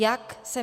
Jak se